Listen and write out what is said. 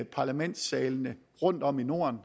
parlamentssalene rundtom i norden